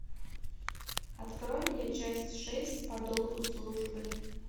открой мне часть шесть по долгу службы